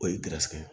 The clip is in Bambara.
O ye